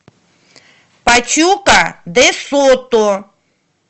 пачука де сото